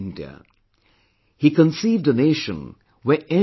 He conceived a nation where everyone was equal